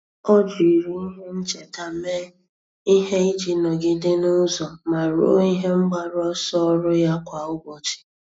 Ọ́ jiri ihe ncheta mee ihe iji nọ́gídé n’ụ́zọ́ ma rúó ihe mgbaru ọsọ ọ́rụ́ ya kwa ụ́bọ̀chị̀.